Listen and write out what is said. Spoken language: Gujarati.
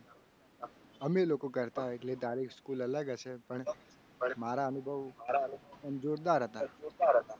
અમે લોકો કરતા. એટલે તારી school અલગ હશે. પણ મારા અનુભવ આમ જોરદાર હતા.